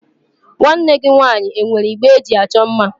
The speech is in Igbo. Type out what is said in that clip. Nwanne gị nwaanyị e nwere igbe eji achọ mma?